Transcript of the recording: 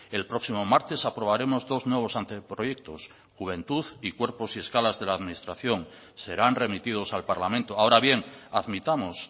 el próximo martes aprobaremos dos nuevos anteproyectos juventud y cuerpos y escalas de la administración serán remitidos al parlamento ahora bien admitamos